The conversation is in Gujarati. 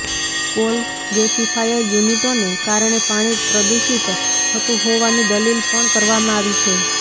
કોલ ગેસીફાયર યુનિટોને કારણે પાણી પ્રદૂષિત થતું હોવાની દલીલ પણ કરવામાં આવી છે